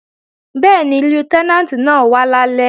Bẹ́ẹ̀ni, Lútẹ́nàǹtì náà wá lálẹ́